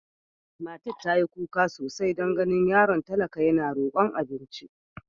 Matar ta yi kuka sosai don ganin yaron talaka yana rokon abinci.